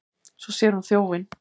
Svo sér hún þjófinn.